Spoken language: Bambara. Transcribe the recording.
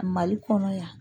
Mali kɔnɔ yan